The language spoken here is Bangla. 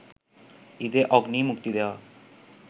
ঈদে 'অগ্নি' মুক্তি দেওয়া